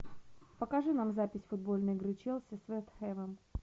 покажи нам запись футбольной игры челси с вест хэмом